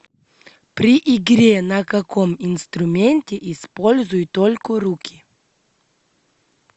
при игре на каком инструменте используют только руки